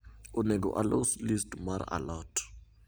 onego alos list mar a lot